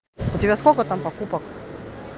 у тебя сколько там покупок